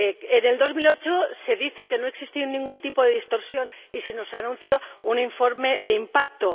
En 2008 se dijo que no existía ningún tipo de distorsión y se nos anunció un informe de impacto.